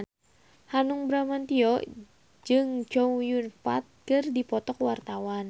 Hanung Bramantyo jeung Chow Yun Fat keur dipoto ku wartawan